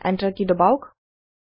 enter কি দবাওক